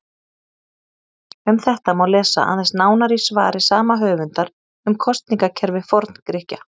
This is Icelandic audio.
Um þetta má lesa aðeins nánar í svari sama höfundar um kosningakerfi Forngrikkja.